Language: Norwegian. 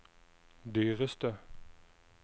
dyreste